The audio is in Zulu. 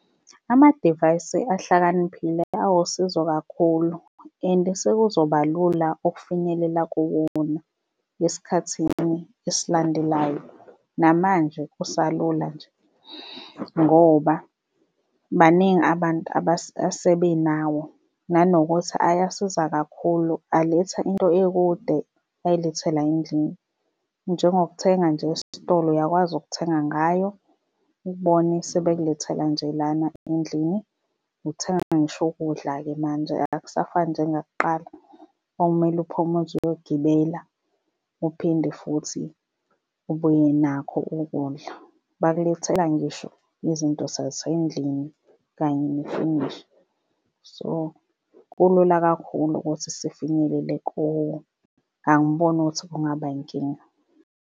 Amadivayisi ahlakaniphile awusizo kakhulu and sekuzoba lula ukufinyelela kuwona esikhathini esilandelayo. Namanje kusalula nje ngoba baningi abantu asebenawo. Nanokuthi ayasiza kakhulu, aletha into ekude ayilethe la endlini, njengokuthenga nje esitolo uyakwazi ukuthenga ngayo ubone sebekulethela nje lana endlini uthenga ngisho ukudla-ke manje akusafani njengakuqala okumele uphume uze uyogibela, uphinde futhi ubuye nakho ukudla. Bakulethela ngisho izinto sasendlini kanye nefenisha. So kulula kakhulu ukuthi sifinyelele kuwo. Angiboni ukuthi kungaba inkinga.